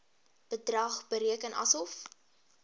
bedrag bereken asof